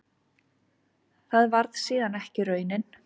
Það varð síðan ekki raunin.